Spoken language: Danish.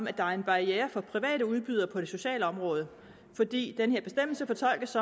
at der er en barriere for private udbydere på det sociale område fordi den her bestemmelse fortolkes